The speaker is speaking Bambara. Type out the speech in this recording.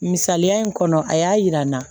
Misaliya in kɔnɔ a y'a yira n na